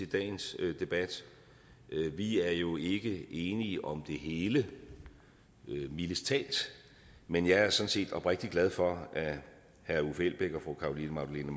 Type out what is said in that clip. dagens debat vi er jo ikke enige om det hele mildest talt men jeg er sådan set oprigtigt glad for at herre uffe elbæk og fru carolina magdalene